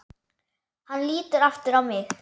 Hann lítur aftur á mig.